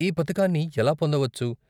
ఈ పథకాన్ని ఎలా పొందవచ్చు?